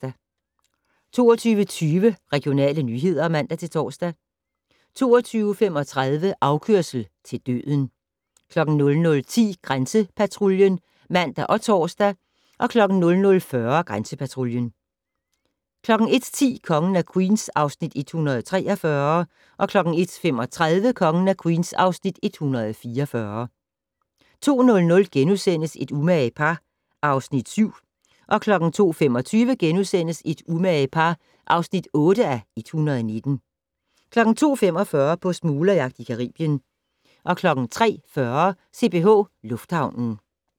22:20: Regionale nyheder (man-tor) 22:35: Afkørsel til døden 00:10: Grænsepatruljen (man og tor) 00:40: Grænsepatruljen 01:10: Kongen af Queens (Afs. 143) 01:35: Kongen af Queens (Afs. 144) 02:00: Et umage par (Afs. 7)* 02:25: Et umage par (8:119)* 02:45: På smuglerjagt i Caribien 03:40: CPH Lufthavnen